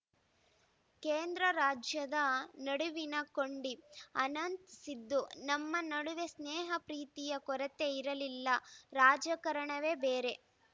ಕೇಂದ್ರರಾಜ್ಯದ ನಡುವಿನ ಕೊಂಡಿ ಅನಂತ್‌ ಸಿದ್ದು ನಮ್ಮ ನಡುವೆ ಸ್ನೇಹಪ್ರೀತಿಯ ಕೊರತೆ ಇರಲಿಲ್ಲ ರಾಜಕಾರಣವೇ ಬೇರೆ